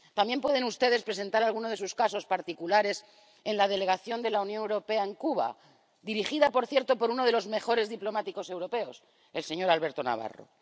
También pueden ustedes presentar alguno de sus casos particulares en la Delegación de la Unión Europea en Cuba —dirigida, por cierto, por uno de los mejores diplomáticos europeos, el señor Alberto Navarro—.